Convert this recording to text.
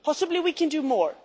Possibly we can do more.